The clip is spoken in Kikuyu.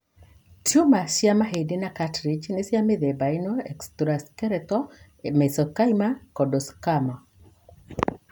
Tumor cia mahĩndĩ na cartilage nĩ cia mĩthemba ĩno:Extraskeletal mesenchymal chondrosarcoma.